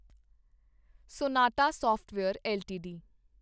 sonata software LTD